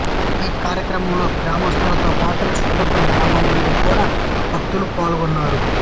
ఈ కార్యక్రమంలో గ్రామస్థులతోపాటు చుట్టుప్రక్కల గ్రామాలనుండి గూడా భక్తులు పాల్గొన్నారు